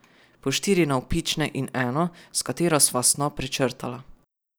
Po štiri navpične in eno, s katero sva snop prečrtala.